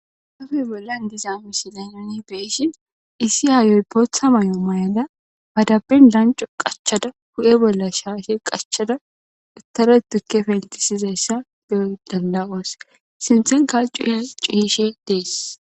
Hafe bollan diza misilay noni beeshin issi yaayoy bootha mayo may7ada badaben lanco qachada hu7e bolla shaashe qachada uttare tukke fentisizayssa de7oy dandawaas sinthen kal cuuyhe cuishe dees.